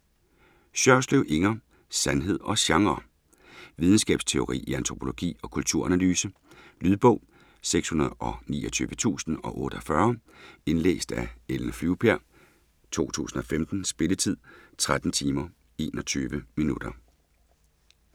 Sjørslev, Inger: Sandhed og genre Videnskabsteori i antropologi og kulturanalyse. Lydbog 629048 Indlæst af Ellen Flyvbjerg, 2015. Spilletid: 13 timer, 21 minutter.